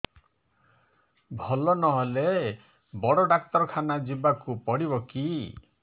ଭଲ ନହେଲେ ବଡ ଡାକ୍ତର ଖାନା ଯିବା କୁ ପଡିବକି